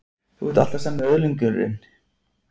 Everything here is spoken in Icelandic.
Þú ert alltaf sami öðlingurinn.